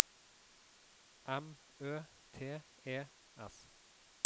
M Ø T E S